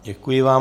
Děkuji vám.